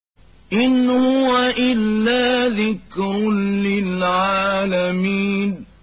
إِنْ هُوَ إِلَّا ذِكْرٌ لِّلْعَالَمِينَ